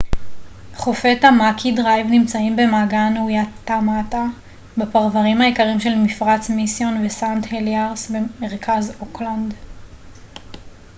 חופי טאמאקי דרייב נמצאים במעגן וואיטמאטה בפרוורים היקרים של מפרץ מיסיון וסנט הליארס במרכז אוקלנד